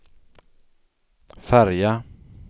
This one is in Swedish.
färja